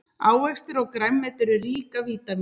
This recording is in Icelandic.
ávextir og grænmeti eru rík af vítamínum